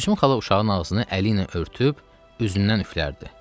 Gülsüm xala uşağın ağzını əli ilə örtüb, üzündən üflərdi.